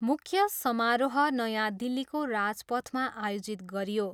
मुख्य समारोह नयाँ दिल्लीको राजपथमा आयोजित गरियो।